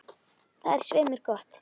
Það er svei mér gott.